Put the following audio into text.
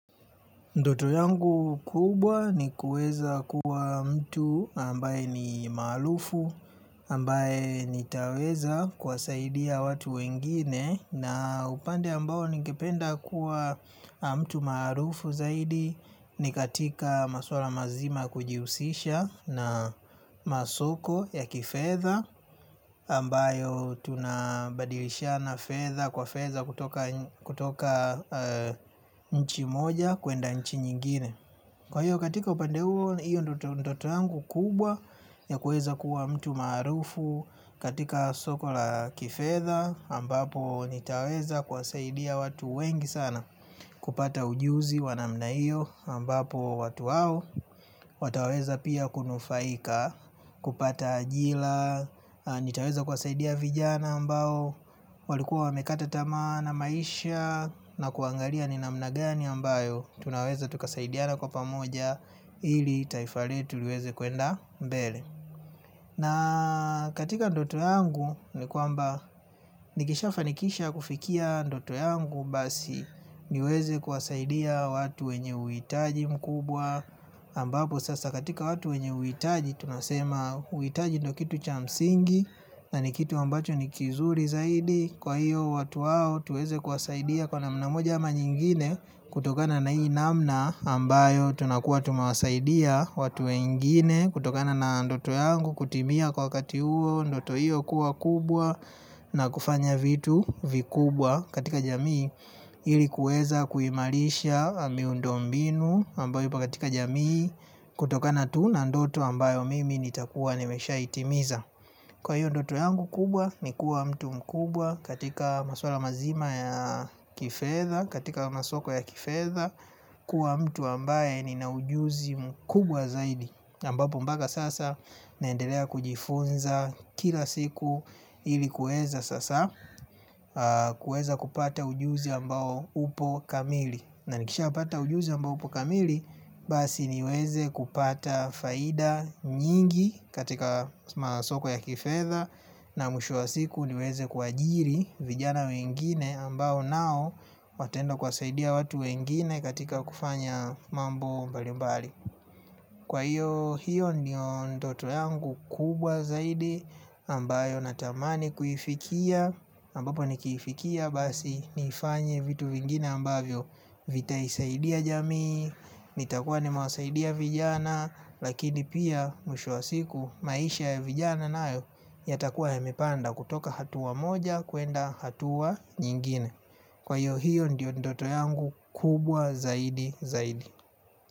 Ndoto yangu kubwa ni kuweza kuwa mtu ambaye ni maarufu ambaye nitaweza kuwasaidia watu wengine. Na upande ambao ningependa kuwa mtu maarufu zaidi ni katika maswala mazima kujihusisha na masoko ya kifedha ambayo tunabadilishana fedha kwa fedha kutoka nchi moja kuenda nchi nyingine. Kwa hiyo katika upande huo hiyo ndio ndoto yangu kubwa ya kuweza kuwa mtu maarufu. Katika soko la kifedha ambapo nitaweza kuwasaidia watu wengi sana kupata ujuzi wa namna hiyo ambapo watu wao wataweza pia kunufaika, kupata ajira, nitaweza kuwasaidia vijana ambao walikuwa wamekata tamaa na maisha na kuangalia ni namna gani ambayo tunaweza tukasaidiana kwa pamoja ili taifa letu liweze kuenda mbele. Na katika ndoto yangu ni kwamba nikishafanikisha kufikia ndoto yangu basi niweze kuwasaidia watu wenye uhitaji mkubwa ambapo sasa katika watu wenye uhitaji tunasema uhitaji ndio kitu cha msingi na ni kitu ambacho ni kizuri zaidi kwa hiyo watu wao tuweze kuwasaidia kwa namna moja ama nyingine kutokana na ii namna ambayo tunakuwa tumewasaidia watu wengine kutokana na ndoto yangu kutimia kwa wakati huo ndoto hiyo kuwa kubwa na kufanya vitu vikubwa katika jamii ili kuweza kuimarisha miundo mbinu ambao yupo katika jamii kutokana tu na ndoto ambayo mimi nitakuwa nimeshaitimiza. Kwa hiyo ndoto yangu kubwa ni kuwa mtu mkubwa katika maswala mazima ya kifedha. Katika masoko ya kifedha kuwa mtu ambaye nina ujuzi mkubwa zaidi ambapo mpaka sasa naendelea kujifunza kila siku ili kuweza sasa kuweza kupata ujuzi ambao upo kamili. Na nikishapata ujuzi ambao upo kamili basi niweze kupata faida nyingi katika masoko ya kifedha na mwisho wa siku niweze kuajiri vijana wengine ambao nao wataenda kuwasaidia watu wengine katika kufanya mambo mbali mbali. Kwa hiyo hiyo ndiyo ndoto yangu kubwa zaidi ambayo natamani kuifikia ambapo nikiifikia basi nifanye vitu vingine ambavyo vitaisaidia jamii. Nitakuwa nimewasaidia vijana lakini pia mwisho wa siku maisha ya vijana nayo yatakuwa yamepanda kutoka hatua moja kuenda hatua nyingine. Kwa hiyo hiyo ndio ndoto yangu kubwa zaidi zaidi.